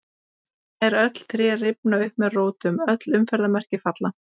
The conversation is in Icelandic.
Nær öll tré rifna upp með rótum, öll umferðarmerki falla.